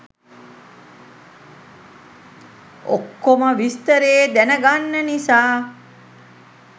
ඔක්කොම විස්තරේ දැනගන්න නිසා.